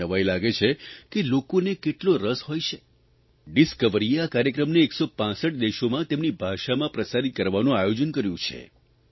મને નવાઇ લાગે છે કે લોકોને કેટલો રસ હોય છે ડિસ્કવરીએ આ કાર્યક્રમને 165 દેશોમાં તેમની ભાષામાં પ્રસારિત કરવાનું આયોજન કર્યું છે